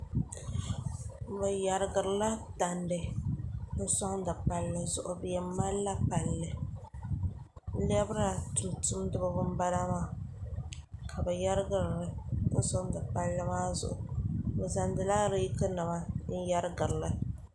ni yɛrigirila tandi n soŋdi palli zuɣu bi yɛn malila palli lɛbira tumtumdiba n bala maa ka bi yɛrigirili n soŋdi palli maa zuɣu bi zaŋla reeki nim n yɛrigirili